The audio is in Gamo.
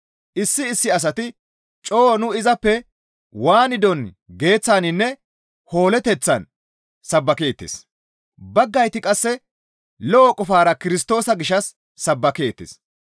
Issi issi asati coo nu izappe waanidon geeththaninne hoolloteththan sabbakeettes; baggayti qasse lo7o qofara Kirstoosa gishshas sabbakeettes.